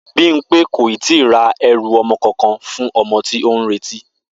Bímpé kò ì tíì ra e̩rù o̩mo̩ kankan fún o̩mo̩ tí ó ń retí